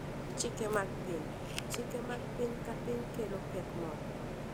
Chike mag Piny: Chike mag piny ka piny kelo pek moko.